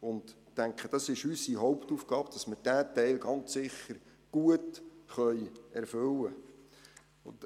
Ich denke, es ist unsere Hauptaufgabe, dass wir diesen Teil ganz sicher gut erfüllen können.